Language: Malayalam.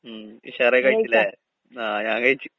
ഉം ഉഷാറായി കഴിച്ചില്ലേ. ആഹ് ഞാങ്കഴിച്ച്.